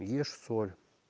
ешь соль